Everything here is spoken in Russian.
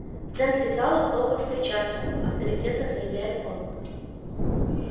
в центре зала плохо встречаться авторитетно заявляет он